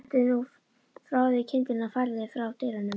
Hentu nú frá þér kyndlinum og færðu þig frá dyrunum